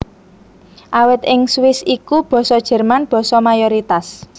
Awit ing Swiss iku Basa Jerman basa mayoritas